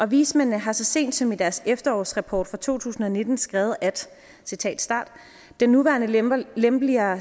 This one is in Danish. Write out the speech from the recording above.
vismændene har så sent som i deres efterårsrapport fra to tusind og nitten skrevet den nuværende lempeligere lempeligere